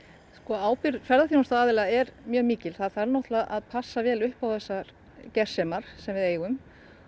ábyrgð ferðaþjónustuaðila er mjög mikil það þarf náttúrulega að passa vel upp á þessar gersemar sem við eigum